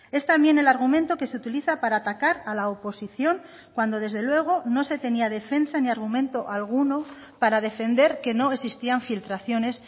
es también el argumento que se utiliza para atacar a la oposición cuando desde luego no se tenía defensa ni argumento alguno para defender que no existían filtraciones